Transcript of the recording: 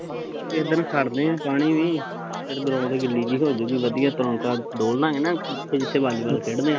ਕਿਸੀ ਦਿਨ ਖੜਦੇ ਪਾਣੀ ਵੀ ਫੇਰ ground ਗਿੱਲੀ ਜਹੀ ਹੋਜੂਗੀ ਵਧੀਆ ਤਰੋਣਕਾਂ ਡੋਲਦਾਗੇ ਨਾ ਜਿੱਥੇ ਜਿੱਥੇ ਵਾਲੀਵਾਲ ਖੇਡ ਦੇ ਆ